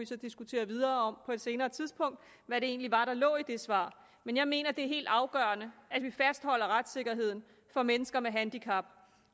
så diskutere videre på et senere tidspunkt hvad det egentlig var der lå i det svar men jeg mener at det er helt afgørende at retssikkerheden for mennesker med handicap